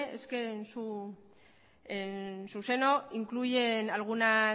es que en su seno incluyen algunos